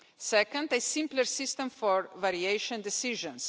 second, a simpler system for variation decisions